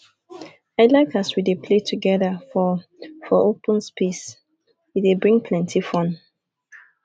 i like as we dey play togeda for for open space e dey bring plenty fun